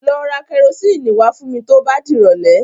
Lọ ra kẹrosíìnì wá fún mi tó bá dìrọ̀lẹ́.